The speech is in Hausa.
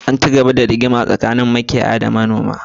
Ana cigaba da rigima tsakanin makiyaya da manoma a garin makurdi